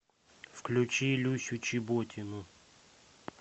включи люсю чеботину